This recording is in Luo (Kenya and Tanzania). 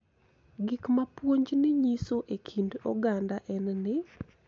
Gik ma puonjni nyiso e kind oganda en ni .